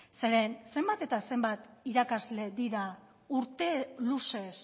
zeren zenbat eta zenbat irakasle dira urte luzez